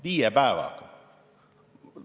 Viie päevaga!